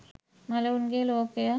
මළවුන්ගේ ලෝකය